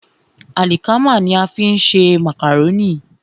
Àlìkámà ní a fi ń ṣe màkàrónì.